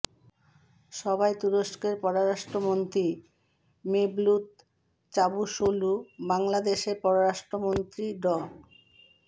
সভায় তুরস্কের পররাষ্ট্র মন্ত্রী মেভলুত চাভুসৌলু বাংলাদেশের পররাষ্ট্রমন্ত্রী ড